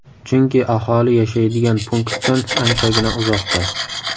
Chunki aholi yashaydigan punktdan anchagina uzoqda.